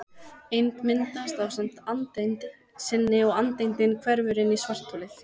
Eind myndast ásamt andeind sinni og andeindin hverfur inn í svartholið.